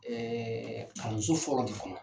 Ɛɛ kalanso fɔlɔ de kɔnɔ.